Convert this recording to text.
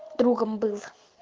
другом был